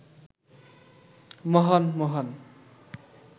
মহান মহান